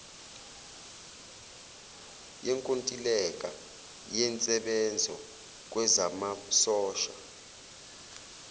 yenkontileka yensebenzo kwezamasosha